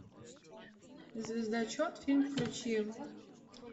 звездочет фильм включи